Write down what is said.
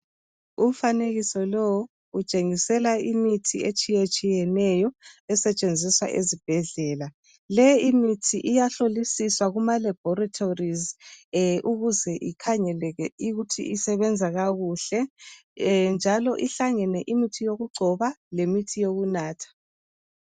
Umfanekiso lowu utshengisela imithi etshiyetshiyeneyo esetshenziswa ezibhedlela. Leyi imithi iyahlolisiswa kuma laboratories ukuze ikhangeleke ukuthi isebenza kakuhle. Njalo ihlangene imithi yokugcoba lamithi yokunatha.